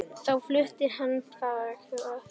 Þá flutti hann þangað.